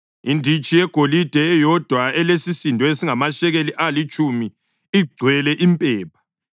inditshi yegolide eyodwa elesisindo esingamashekeli alitshumi igcwele impepha;